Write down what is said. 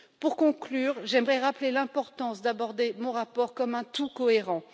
Pour conclure, j'aimerais rappeler l'importance d'aborder mon rapport comme un tout cohérent.